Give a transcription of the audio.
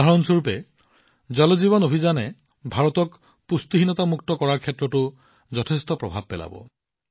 উদাহৰণস্বৰূপে জল জীৱন মিছনক লৈ এই অভিযানে ভাৰতক পুষ্টিহীনতামুক্ত কৰাৰ ক্ষেত্ৰতো যথেষ্ট প্ৰভাৱ পেলাব